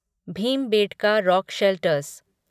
Bhimbetka rock shelters